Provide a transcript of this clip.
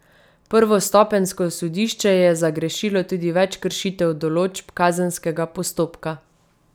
Prvostopenjsko sodišče je zagrešilo tudi več kršitev določb kazenskega postopka.